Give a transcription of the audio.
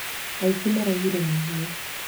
aici maraiire mahiũ